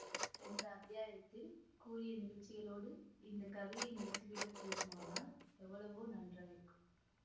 சென்ற அத்தியாயத்தில் கூறிய நிகழ்ச்சிகளோடு இந்த கதையை முடித்துவிடக் கூடுமானால் எவ்வளவோ நன்றாயிருக்கும்